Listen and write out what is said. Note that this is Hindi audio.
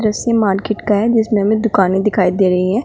ये मार्केट का है जिसमें हमें दुकाने दिखाई दे रही है।